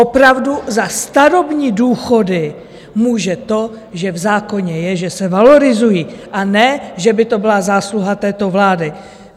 Opravdu za starobní důchody může to, že v zákoně je, že se valorizují, a ne že by to byla zásluha této vlády.